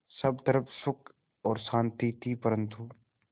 सब तरफ़ सुख और शांति थी परन्तु